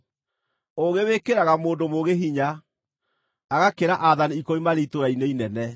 Ũũgĩ wĩkĩraga mũndũ mũũgĩ hinya, agakĩra aathani ikũmi marĩ itũũra-inĩ inene.